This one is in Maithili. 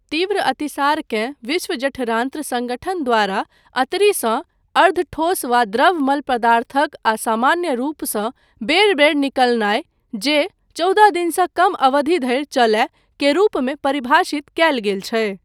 तीव्र अतिसारकेँ विश्व जठरान्त्र सङ्गठन द्वारा अन्तरीसँ अर्धठोस वा द्रव मल पदार्थक असामान्य रूपसँ बेर बेर निकलनाय, जे चौदह दिनसँ कम अवधि धरि चलय, के रूपमे परिभाषित कयल गेल छै।